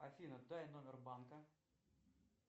афина дай номер банка